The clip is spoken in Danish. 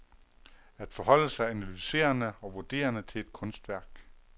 At forholde sig analyserende og vurderende til et kunstværk.